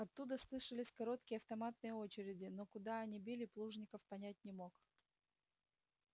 оттуда слышались короткие автоматные очереди но куда они били плужников понять не мог